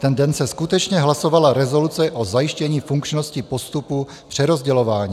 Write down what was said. Ten den se skutečně hlasovala rezoluce o zajištění funkčnosti postupu přerozdělování.